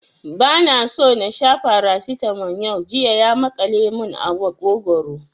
Ba na so na sha Farasitamol yau, jiya ya maƙale mun a maƙogwaro